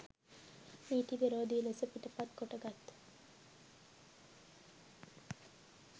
නීති විරෝධී ලෙස පිටපත් කොටගත්